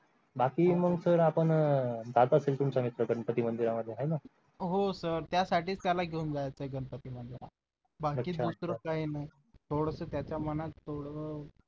बाकी मग sir आपण गणपती मंदिरामध्ये आहे ना हो sir त्यासाठी त्याला घेऊन जायचं गणपती मंदिरात बाकी दुसरं काही नाही थोडसं त्याच्या मनात थोडं